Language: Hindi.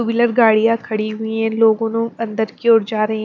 टू व्हीलर गाड़ियां खड़ी हुई है लोगों अंदर की ओर जा रहे हैं।